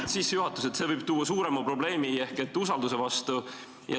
See oli sissejuhatus, et see võib tuua suurema probleemi usaldusega.